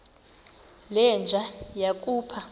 le nja yakhupha